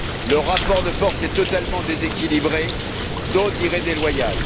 Le rapport de force est totalement déséquilibré, d'autres diraient déloyal.